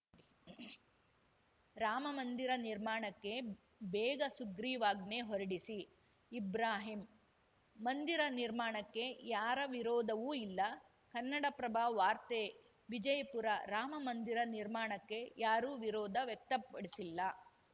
ರಾಮಮಂದಿರ ನಿರ್ಮಾಣಕ್ಕೆ ಬೇಗ ಸುಗ್ರೀವಾಜ್ಞೆ ಹೊರಡಿಸಿ ಇಬ್ರಾಹಿಂ ಮಂದಿರ ನಿರ್ಮಾಣಕ್ಕೆ ಯಾರ ವಿರೋಧವೂ ಇಲ್ಲ ಕನ್ನಡಪ್ರಭ ವಾರ್ತೆ ವಿಜಯಪುರ ರಾಮಮಂದಿರ ನಿರ್ಮಾಣಕ್ಕೆ ಯಾರೂ ವಿರೋಧ ವ್ಯಕ್ತಪಡಿಸಿಲ್ಲ